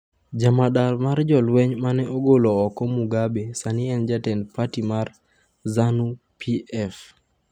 Jamadar mar jolweny mane ogolo oko Mugabe sani en jatend parti mar Zanu-PF